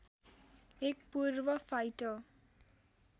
एक पूर्व फाइटर